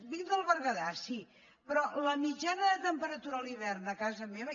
vinc del berguedà sí però la mitjana de temperatura a l’hivern a casa meva